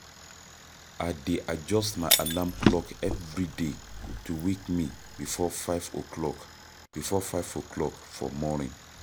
I dey adjust my alarm clock every day to wake me before 5 o'clock before 5 o'clock for morning.